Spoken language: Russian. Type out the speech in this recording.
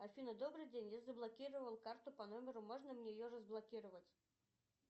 афина добрый день я заблокировал карту по номеру можно мне ее разблокировать